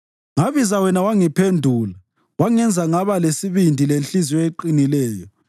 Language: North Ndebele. Ngabiza wena wangiphendula; wangenza ngaba lesibindi lenhliziyo eqinileyo.